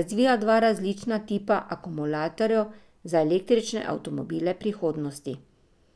razvija dva različna tipa akumulatorjev za električne avtomobile prihodnosti.